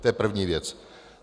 To je první věc.